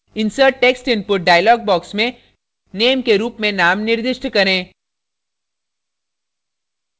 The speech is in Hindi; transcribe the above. insert text input dialog box में name के रुप में name निर्दिष्ट करें